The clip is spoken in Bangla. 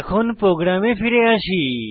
এখন প্রোগ্রামে ফিরে আসি